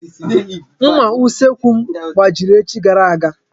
Nmà usekwu m gbajiri echi gara aga.